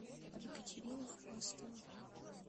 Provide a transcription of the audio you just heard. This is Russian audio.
екатерина хвастова